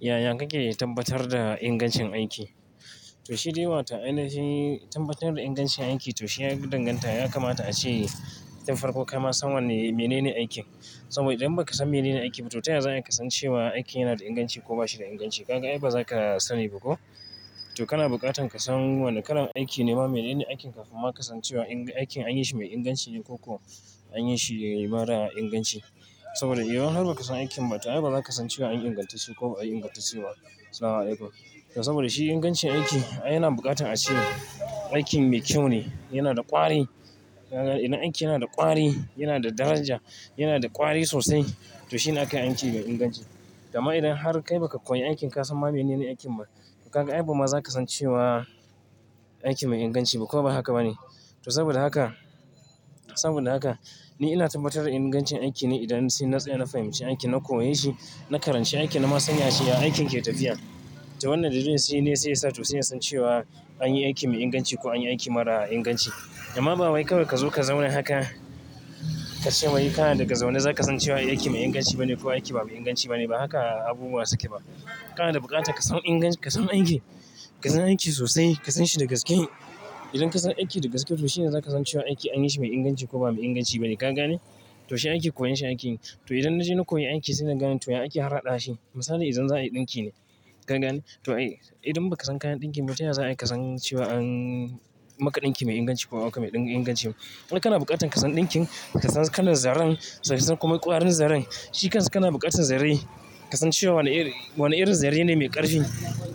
Yaya kake tabbatar da ingancin aiki? To, shi dai wato ainihi tabbatar da ingancin aiki to shi yafi danganta ya kamata a ce, tun farko kama san wanne, menene aikin. Saboda idan ba ka san menene aiki ba to ta yaya za ka san cewa aiki yana da inganci ko ba shi da inganci. Ka ga? Ai ba za ka sani ba ko. To kana bukatar ka san wannan kalan aiki ne ma menene aikin kafin ma ka san cewa aiki an yi shi mai inganci ne koko an yi shi mara inganci. Saboda idan har ba ka san aikin ba to ai ba za ka san cewa an ingantacce shi ko ba a yi ingantacce ba. Salamu alaikum, to saboda shi ingancin aiki ai yana bukatar a ce aikin mai kyau ne, yana da ƙwari. Ka ga? Idan aiki yana da ƙwari, yana da daraja, yana da ƙwari sosai to shi ne aka yi aiki mai inganci. Dama idan har kai ba ka koyi aikin ka san ma menene aikin ba, ka ga? Ai ba ma za ka san cewa aiki mai inganci ba ko ba haka ba ne. To saboda haka, saboda haka ni ina tabbatar da ingancin aiki ne idan sai na tsaya na fahimci aiki, na koyi shi, na karanci aiki, na ma san ya cewa aikin ke tafiya. To wannan dalilin shi ne sai ya sa to sai ya san cewa an yi aiki mai inganci ko an yi aiki mara inganci. Dama ba wai kawai ka zo ka zauna haka ka ce wai ka na daga zaune za ka san cewa aiki mai inganci ba ne ko aiki ba inganci ba ne. Ba haka abubuwa suke ba. Kana da bukatar ka san ingancin, ka san aiki. Ka san aiki sosai, ka san shi daga cikin. Idan ka san aiki da gaske to shi ne za ka san cewa aiki an yi shi mai inganci ko ba inganci ba ne. Ka ga ne? To shi aiki koyon shi ake yi. To idan na je na koyi aiki sai na gane to ya aiki har haɗa shi. Misali idan za a yi ɗinki ne. Ka ga ne? To ai, idan ba ka san kayan ɗinki ba to yaya za ka san cewa an maƙa ɗinki mai inganci ko ba a ma aka mai ɗin inganci ba. Kana bukatar ka san ɗinkin, ka san kalan zaren, ka san kuma ƙwarin zaren. Shi ka suna bukatar zare. Ka san cewa wanna iri, wanna irin zare ne mai ƙarfi.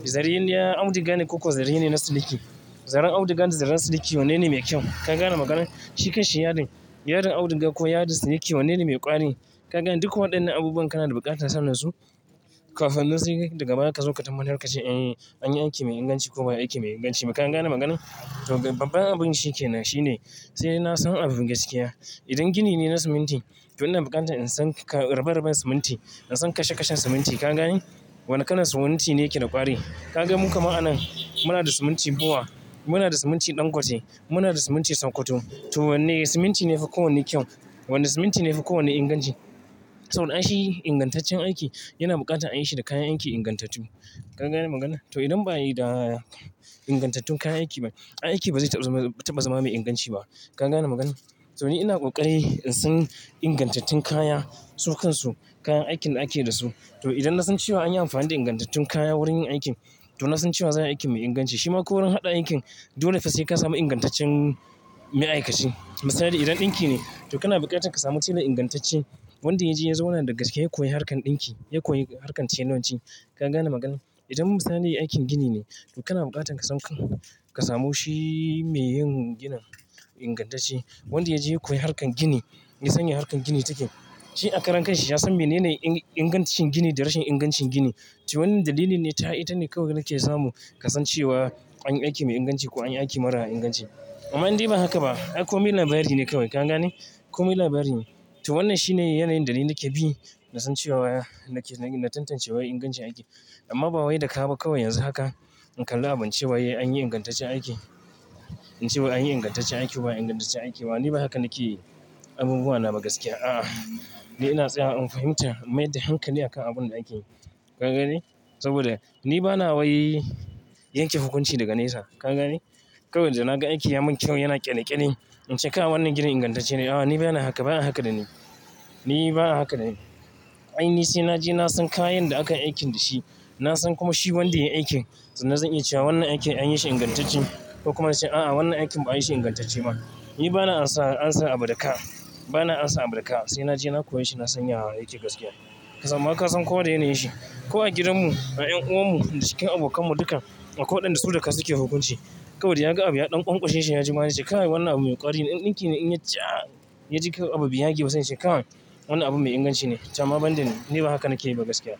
Zare na auduga ne ko zare ne na siliki. Zaren auduga da zaren siliki wanne ne mai kyau. Ka gane maganina? Shi kai shi yadin. Yadin auduga ko yadin siliki wanne ne mai ƙwari. Ka gane duka waɗannan abubuwa kana da bukatar sanin su kafin nan sai daga baya ka zo ka tabbatar ka ce an yi, an yi aiki mai inganci ko ba aiki mai inganci ba. Ka gane maganan? To babban abun shi ke nan shine sai na san abu gaskiya. Idan gini ne na siminti to ina bukatar in san ƙa, rabe-raben siminti, in san kashe-kashen siminti. Ka gane? Wanna kalan siminti ne ke da ƙwari. Ka gan mu kama'ana muna da siminti goma, muna da siminti dangote, muna da siminti Sakkwato. To wanne siminti ne fi kowanne kyau? Wanne siminti ne fi kowanne inganci? To don ai shi ingantaccen aiki yana bukatar a yi shi da kayan aiki ingantattu. Ka gane maganan? To idan ba ayi da ingantattun kayan aiki ba, aiki ba zai taɓa zama, taɓa zama mai inganci ba. Ka gane maganan? To ni ina ƙoƙari in san ingantattun kaya, su kansu, kayan aikin da ake da su. To idan na san cewa an yi amfani da ingantattun kaya wurin yin aikin to na san cewa za a yi aiki mai inganci. Shi ma ko wurin haɗa aikin dole sai ka samu ingantaccen ma'aikaci. Misali idan ɗinki ne to kana bukatar ka samu shi da ingantacce. Wanda ya je ya zauna daga cike ya koyi harkar ɗinki, ya koyi harkar telanci. Ka gane maganan? Idan misali aikin gini ne to kana bukatar ka san, ka samu shi mai yin ginin ingantacce. Wanda ya je ya koyi harkar gini, ya san ya harkar gini take. Shi a karan kai shi ya san menene ingantacin gini da rashin ingancin gini. To wannan dalili ne ta, ita ne kawai da ke samu ka san cewa an yi aiki mai inganci ko an yi aiki mara inganci. Amma in dai ba haka ba, ai kome labari ne kawai. Ka gane? Kome labari ne. To wannan shi ne yanayin dalili da ke bi na san cewa, na tantance wai ingancin aiki. Amma ba wai da ka ba kawai yanzu haka in kalla abun cewa an yi ingantaccen aiki, in ce an yi ingantaccen aiki wa ingantaccen aiki ba. Ni ba haka nake yi abubuwa na ba gaskiya. A'a, ni ina tsaya in fahimci, in mayar da hankali akan abun da ake yi. Ka ga ne? Saboda ni ba na wai yanke hukunci daga nesa. Ka ga ne? Kawai idan na ga aiki ya mun kyau, yana ƙyale-ƙyale in ce kai wannan gidan ingantacce ne. A'a, ni bana haka, bana haka da ni. Ni bana haka da ni. Ai ni sai naje na san kayan da aka yi aikin da shi. Na san kuma shi wanda ya yi aikin. Tukunna zai iya cewa wannan aikin an yi shi ingantacce ko kuma in ce a'a wannan aikin ba ayi shi ingantacce ba. Ni bana amsa, amsa abu daga ka. Bana amsa abu da ka. Sai naje na koye shi na san ya yake gaskiya. Ka sam a ka san kowa da yanayin shi. Ko a gidanmu, a ƴan'uwanmu, cikin abokanmu duka, akwai waɗanda su da ka suke hukunci. Kawai idan ka ga abu ya ɗau ƙwanƙwashe shi yaji ma shi ka ce wannan abu mai ƙwari ne. Ɗinki ne in ya ja, ya ji kai abu bai yage ba sanyi yaa ce kai wannan abu mai inganci ne. To amma ban dani, ni ba haka nake yi ba gaskiya.